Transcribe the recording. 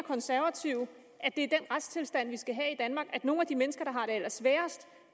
konservative at det er den retstilstand vi skal have i danmark at nogle af de mennesker